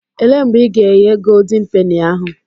Elee mgbe ị ga-eghe goldin peni ahụ?